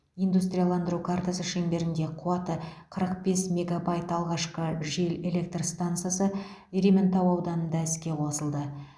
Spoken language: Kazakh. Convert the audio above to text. индустрияландыру картасы шеңберінде қуаты қырық бес мегабайт алғашқы жел электр стансасы ерейментау ауданында іске қосылды